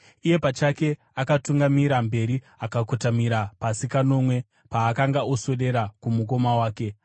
Iye pachake akatungamira mberi akakotamira pasi kanomwe paakanga oswedera kumukoma wake.